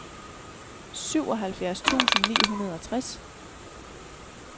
syvoghalvfjerds tusind ni hundrede og tres